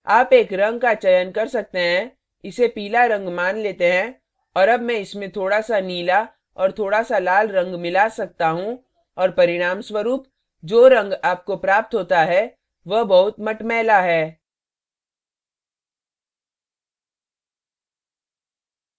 आप एक रंग का चयन कर सकते हैं इसे पीला रंग मान लेते हैं और अब मैं इसमें थोड़ा s नीला और थोड़ा s लाल रंग मिला सकता you और परिणामस्वरूप जो रंग आपको प्राप्त होता है वह बहुत मटमैला है